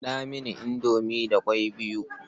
Haɗa mini indomi da ƙwai biyu.